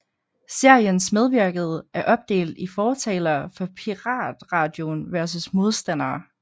Seriens medvirkede er opdelt i fortalere for piratradioen versus modstandere